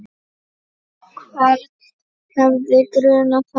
Hvern hefði grunað það?